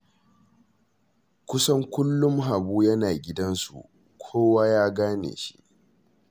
Kusan kullum Habu yana gidansu, kowa ya gane shi